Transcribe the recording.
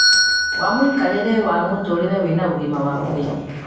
wa mũikarĩre wa mũtũũrĩre wĩna ũgima wa mwĩrĩ